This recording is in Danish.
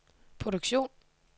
produktion